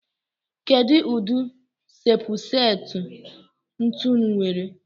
Kedu udi shepu seti ntụnụ nwere?